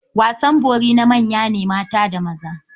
Wasan bori na manya ne mata da maza.